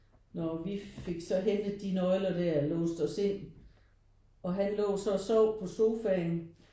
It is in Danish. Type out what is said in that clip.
Når vi fik så hentet de nøgler der og låste os ind og han lå så og sov på sofaen